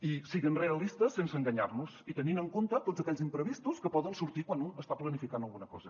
i sent realistes sense enganyar nos i tenint en compte tots aquells imprevistos que poden sortir quan un està planificant alguna cosa